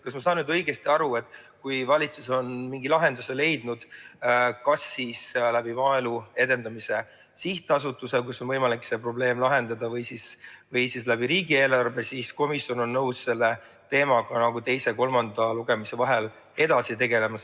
Kas ma saan õigesti aru, et kui valitsus on mingi lahenduse leidnud, ükskõik kas läbi Maaelu Edendamise Sihtasutuse on võimalik see probleem lahendada või läbi riigieelarve, siis on komisjon nõus selle teemaga teise ja kolmanda lugemise vahel edasi tegelema?